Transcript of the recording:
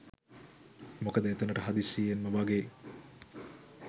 මොකද එතනට හදිසියෙන්ම වගේ